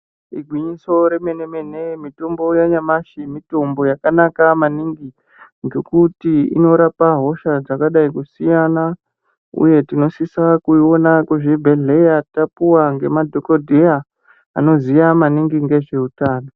Igwinyiso remene mene, mitombo yanyamashe, mitombo yakanaka maningi, ngekuti inotirapa hosha dzakadayi kusiyana. Uye, tinosisa kuwona kuzvibhedhleya tapuwa ngemadhokodheya, anoziya maningi ndezvewutano.